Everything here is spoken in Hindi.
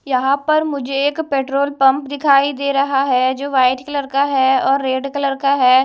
यहां पर मुझे एक पेट्रोल पंप दिखाई दे रहा है जो वाइट कलर का है और रेड कलर का है।